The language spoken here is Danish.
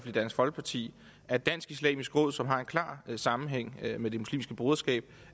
i dansk folkeparti at dansk islamisk råd som har en klar sammenhæng med det muslimske broderskab